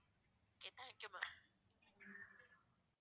okay thank you ma'am